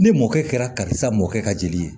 Ni mɔkɛ kɛra ka sa mɔkɛ ka jeli ye